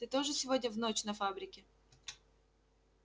ты тоже сегодня в ночь на фабрике